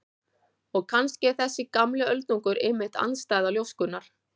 Og kannski er þessi gamli öldungur einmitt andstæða ljóskunnar.